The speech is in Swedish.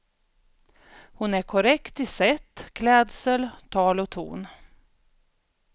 Hon är korrekt i sätt, klädsel, tal och ton.